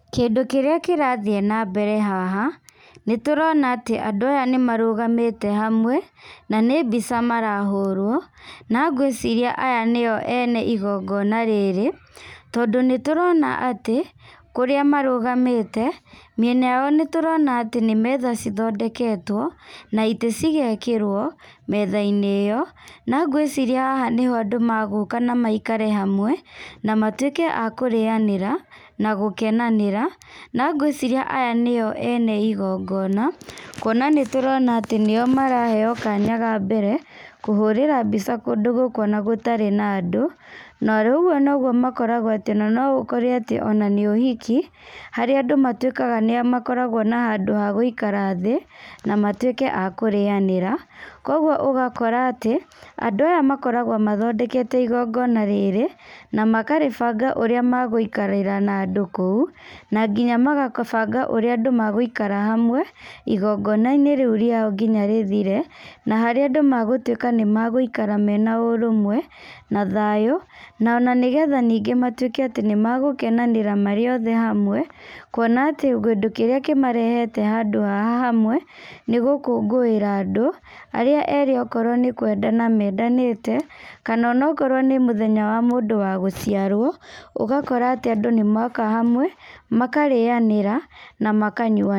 Kĩndũ kĩrĩa kĩrathiĩ nambere haha nĩtũrona atĩ andũ aya nĩ marũgamĩte hamwe na nĩ mbica marahũrwo, na ngwĩciria aya nĩo ene igongona rĩrĩ, tondũ nĩ tũrona atĩ kũrĩa marũgamĩte mĩena yao, nĩ tũrona atĩ nĩ metha ithondeketwo na itĩ cigekĩrwo metha-inĩ ĩo na ngwĩciria haha nĩho andũ magũka na maikare hamwe na matuĩke a kũrĩanĩra, na gũkenanĩra na ngwĩciria aya nĩo ene igongona, kuona atĩ nĩ tũrona nĩo maraheyo kanya ka mbere kũhũrĩra mbica kũndũ gũkũ ona gũtarĩ na andũ, na rĩu ũguo no guo makoragwo atĩ ona no ũkore atĩ ona nĩ ũhiki harĩa andũ matuĩkaga nĩmakoragwo na handũ ha gũikara thĩ na matuĩke a kũrĩanĩra, koguo ũgakora atĩ andũ aya makoragwo mathondekete igongona rĩrĩ, na makarĩbanga ũrĩa magũikarĩra na andũ kũu na nginya makabanga ũrĩa andũ magũikara hamwe igongona-inĩ rĩu rĩao nginya rĩthire, na harĩa andũ magũtuwĩka nĩ magũikara mena ũrũmwe na thayũ, ona nĩgetha ningĩ matuĩke atĩ nĩmegũkenanĩra marĩ othe hamwe kuona atĩ kĩndũ kĩrĩa kĩmarehete handũ haha hamwe nĩ gũkũngũĩra andũ arĩa erĩ okorwo nĩ kwendana mendanĩte, kana onakorwo nĩ mũthenya wa mũndũ wa gũciarwo ũgakora atĩ andũ nĩ moka hamwe, makarĩanĩra na makanyuanĩra.